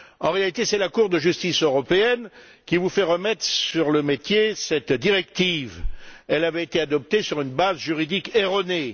En réalité, c'est la Cour de justice européenne qui vous fait remettre sur le métier cette directive elle avait été adoptée sur une base juridique erronée.